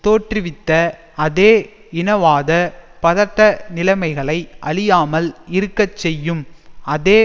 தோற்றுவித்த அதே இனவாத பதட்டநிலைமைகளை அழியாமல் இருக்க செய்யும் அதே